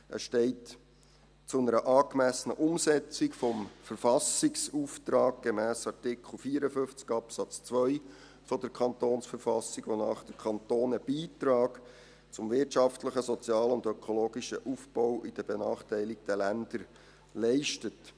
Er steht zu einer angemessenen Umsetzung des Verfassungsauftrags gemäss Artikel 54 Absatz 2 KV, wonach der Kanton einen Beitrag zum wirtschaftlichen, sozialen und ökologischen Aufbau in den benachteiligten Ländern leistet.